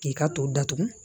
K'i ka to datugu